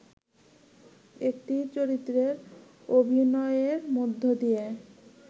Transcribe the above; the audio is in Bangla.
একটি চরিত্রে অভিনয়ের মধ্যে দিয়ে